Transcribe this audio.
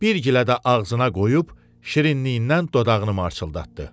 Bir gilə də ağzına qoyub şirinliyindən dodağını marçıldatdı.